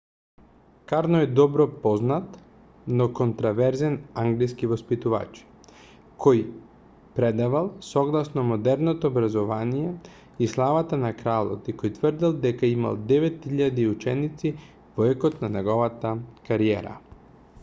карно е добро познат но контроверзен англиски воспитувач кој предавал согласно модерното образование и славата на кралот и кој тврдел дека имал 9000 ученици во екот на неговата кариера